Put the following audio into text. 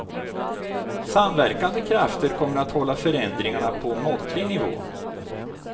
Samverkande krafter kommer att hålla förändringarna på måttlig nivå.